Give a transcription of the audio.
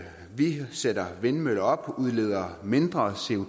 vi sætter vindmøller op og udleder mindre